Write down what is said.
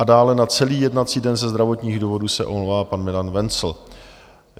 A dále na celý jednací den ze zdravotních důvodů se omlouvá pan Milan Wenzl. .